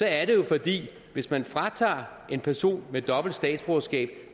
er det jo fordi hvis man fratager en person med dobbelt statsborgerskab